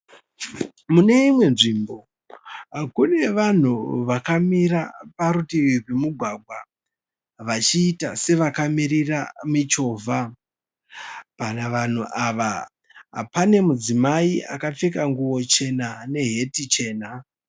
Mune imwe nzvimbo kune vanhu vakamira parutivi rwemugwagwa vachiita sevakamirira michovha. Panavanhu ava pane mudzimai akapfeka nguwoo chena neheti chena.